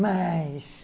Mas...